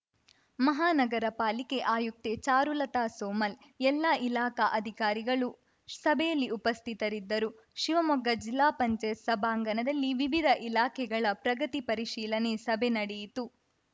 ಮಹಾನಗರ ಪಾಲಿಕೆ ಆಯುಕ್ತೆ ಚಾರುಲತಾ ಸೋಮಲ್‌ ಎಲ್ಲಾ ಇಲಾಖಾ ಅಧಿಕಾರಿಗಳು ಸಭೆಯಲ್ಲಿ ಉಪಸ್ಥಿತರಿದ್ದರು ಶಿವಮೊಗ್ಗ ಜಿಲ್ಲಾ ಪಂಚಾಯತ್ ಸಭಾಂಗಣದಲ್ಲಿ ವಿವಿಧ ಇಲಾಖೆಗಳ ಪ್ರಗತಿ ಪರಿಶೀಲನೆ ಸಭೆ ನಡೆಯಿತು